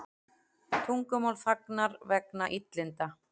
Tungumál þagnar vegna illinda